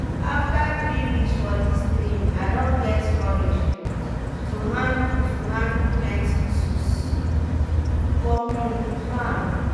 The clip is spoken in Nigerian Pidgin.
after three weeks for dis training i don get courage um to handle to handle plenty tools for um di farm.